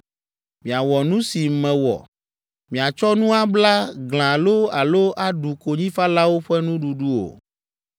Miawɔ nu si mewɔ. Miatsɔ nu abla glã loo alo aɖu konyifalawo ƒe nuɖuɖu o.